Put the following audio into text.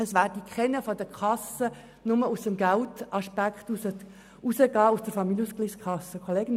Es wurde klar gesagt, dass keiner nur wegen des Geldaspekts aus der Familienausgleichskasse austritt.